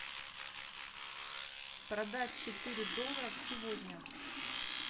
продать четыре доллара сегодня